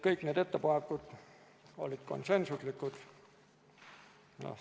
Kõik need ettepanekud olid konsensuslikud.